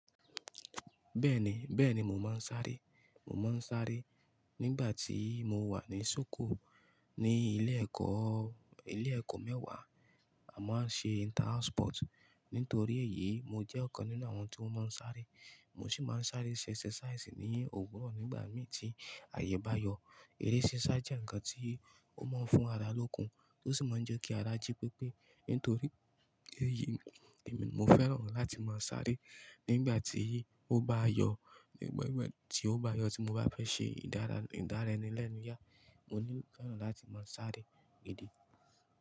Bẹ́ẹ̀ni, bẹ́ẹ̀ni mo máa ń sáré. Mo máa ń sáré nígbà tí mo wà ní sókò. Ni ilé ẹ̀kọ́, ilé ẹ̀kọ́ mẹ́wàá a máa ń ṣe inter house sport. Nítorí èyí, mo jẹ́ ọ̀kan nínú àwọn tí wọ́n máa ń sáré. Mo sì máa ń sáré ṣe idàràya ní òwúrọ̀ nígbà mí tí àyè bá yọ. Idàràya jẹ́ ǹkan tí ó máa ń fún ara lókun, ó sì máa ń jẹ́ kí ara jí pépé. Nítorí èyí, mo fẹ́ràn láti máa sáré. Nígbà tí yí, ó bá yọ, nígbà tí ó bá yọ tí mo bá fẹ́ ṣe ìdárayá lẹ́nu yà, mo ní gbọdọ̀ láti máa sáré ìdí.